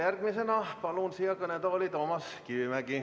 Järgmisena palun siia kõnetooli Toomas Kivimägi.